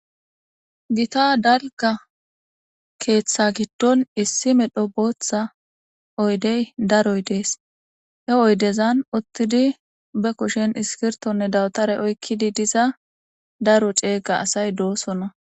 Gita dalga keeththa giddon issi medho bootha oydey daroy dees. He oydezan uttidi be kushen iskirttonne dawatare daro ceega asatay doosona.